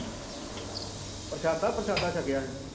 ਪ੍ਰਸ਼ਾਦਾ ਪ੍ਰਸ਼ਾਦਾ ਸ਼ਕੇਆ ਹੀ